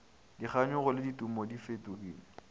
dikganyogo le ditumo di fetogile